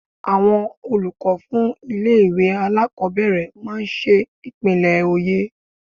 Àwọn olùkọ́ fún ilé-ìwé alákobẹ̀rẹ̀ máa n ṣe ìpínlẹ̀ oyè